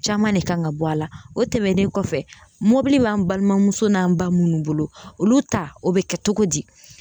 Caman de kan ka bɔ a la o tɛmɛnen kɔfɛ mobili b'an balimamuso n'an ba minnu bolo olu ta o be kɛ togo di